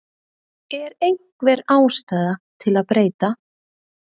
Er einhver ástæða til að breyta?